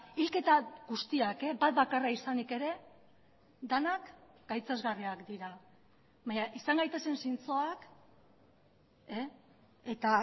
hilketa guztiak bat bakarra izanik ere denak gaitzesgarriak dira baina izan gaitezen zintzoak eta